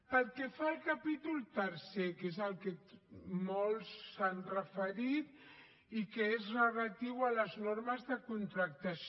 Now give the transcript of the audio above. pel que fa al capítol tercer que és el que molts hi s’han referit i que és relatiu a les normes de contractació